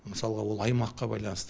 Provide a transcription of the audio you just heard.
мысалы ол аймаққа байланысты